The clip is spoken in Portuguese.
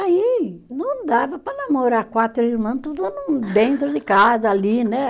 Aí não dava para namorar quatro irmã, tudo no dentro de casa, ali, né?